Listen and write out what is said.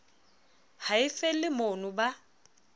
ha e felle mono ba